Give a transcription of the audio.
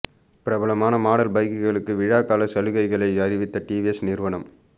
பிரபலமான மாடல் பைக்குகளுக்கு விழா கால சலுகைகளை அறிவித்த டிவிஎஸ் நிறுவனம்